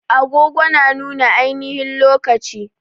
Agogo na nuna ainihin lokaci